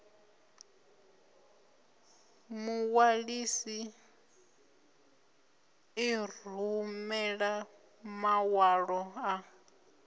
muṅwalisi i rumela maṅwalo a